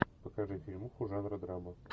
покажи фильмуху жанра драма